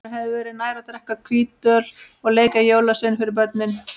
Honum hefði verið nær að drekka hvítöl og leika jólasvein fyrir börnin.